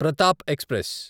Pratap express